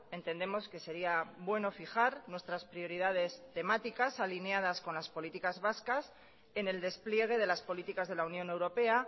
entendemos que sería bueno fijar nuestras prioridades temáticas alineadas con las políticas vascas en el despliegue de las políticas de la unión europea